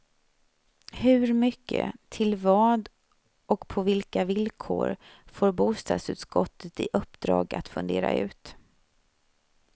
Hur mycket, till vad och på vilka villkor, får bostadsutskottet i uppdrag att fundera ut.